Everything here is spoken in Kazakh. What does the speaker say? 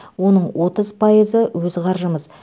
оның отыз пайызы өз қаржымыз